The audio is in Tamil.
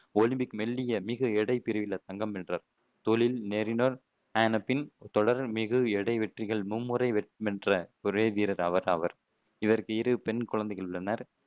ஒலிம்பிக்கு மெல்லிய மிகுஎடை பிரிவுல தங்கம் வென்றார். தொழில் நெறிஞர் ஆனப்பின் தொடர் மிகுஎடை வெற்றிகள் மும்முறை வென்ற ஒரே வீரர் அவர் ஆவர் இவருக்கு இரு பெண் குழந்தைகள் உள்ளனர்